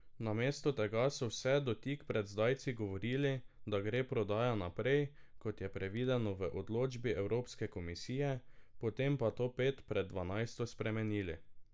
Namesto tega so vse do tik pred zdajci govorili, da gre prodaja naprej, kot je predvideno v odločbi Evropske komisije, potem pa to pet pred dvanajsto spremenili.